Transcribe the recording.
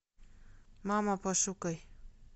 мама пошукай